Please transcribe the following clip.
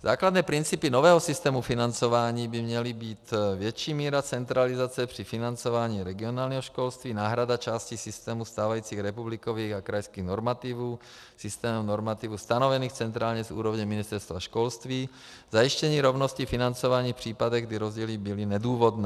Základní principy nového systému financování by měly být větší míra centralizace při financování regionálního školství, náhrada části systému stávajících republikových a krajských normativů systémem normativů stanovených centrálně z úrovně Ministerstva školství, zajištění rovnosti financování v případech, kdy rozdíly byly nedůvodné.